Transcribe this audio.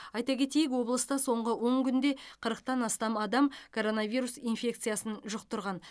айта кетейік облыста соңғы он күнде қырықтан астам адам коронавирус инфекциясын жұқтырған